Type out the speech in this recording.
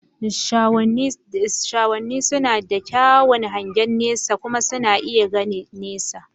Shahoni suna da kyakkyawan hangen nesa kuma suna iya gani nesa.